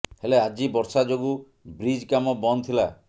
ହେଲେ ଆଜି ବର୍ଷା ଯୋଗୁ ବ୍ରିଜ୍ କାମ ବନ୍ଦ ଥିଲା